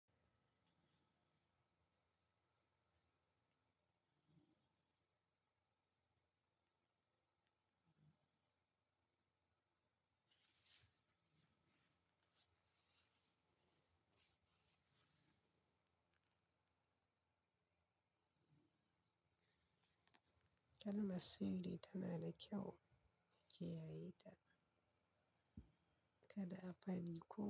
Kalma siri tana da kyau, a ki yaye ta, kada a fadi ko.